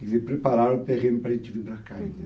Quer dizer, prepararam o terreno para a gente vir para cá. Uhum.